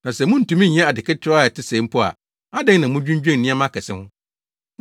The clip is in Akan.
Na sɛ muntumi nyɛ ade ketewaa a ɛte sɛɛ mpo a, adɛn na mudwinnwen nneɛma akɛse ho?